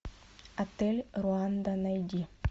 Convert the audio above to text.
отель руанда найди